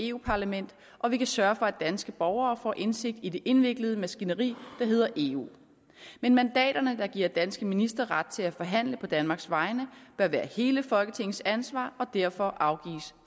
europa parlamentet og vi kan sørge for at danske borgere får indsigt i det indviklede maskineri der hedder eu men mandaterne der giver danske ministre ret til at forhandle på danmarks vegne bør være hele folketingets ansvar og derfor afgives